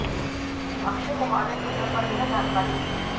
अक्षय कुमार ने ट्विटर पर यह जानकारी दी